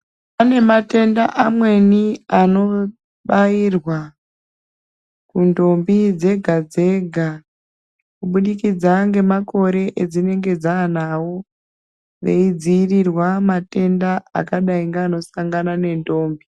Panematenda amweni anobayirwa ntombi dzega dzega, kubudikidza ngemakore edzinenge dzanawo, veyidziyirirwa matenda akadayi nganosangana ngentombi.